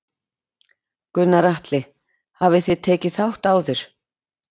Gunnar Atli: Hafið þið tekið þátt áður?